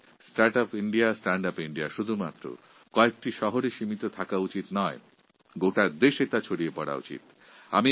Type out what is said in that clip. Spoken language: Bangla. এই start up India stand up India ভারতের গুটিকয়েক শহরে সীমাবদ্ধ না রেখে গোটা ভারতবর্ষে ছড়িয়ে দেওয়া দরকার